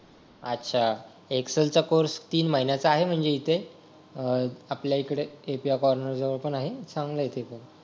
अच्छा एक्सेल चा कोर्स तीन महिन्याचा आहे म्हणजे इथे अह आपल्याकडे API कॉर्नर जवळ पण आहे चांगला आहे तिकडे